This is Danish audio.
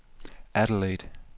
Adelaide